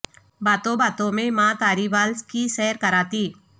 باتوں باتوں میں ماں تاری وال کی سیر کراتی